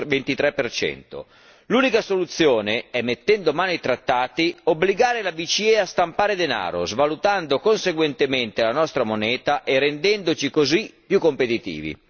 0,23. L'unica soluzione consiste, mettendo mano ai Trattati, nell'obbligare la BCE a stampare denaro, svalutando conseguentemente la nostra moneta e rendendoci così più competitivi.